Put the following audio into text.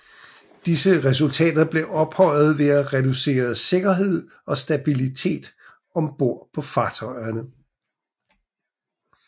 Disse resultater blev opnået ved at reducere sikkerhed og stabilitet om bord på fartøjerne